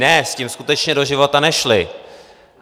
Ne, s tím skutečně do života nešli!